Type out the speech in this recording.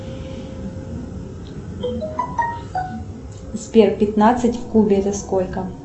сбер пятнадцать в кубе это сколько